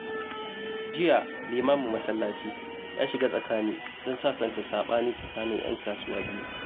Jiya, limamin masallaci ya shiga tsakani don sasanta sabani tsakanin 'yan kasuwa biyu.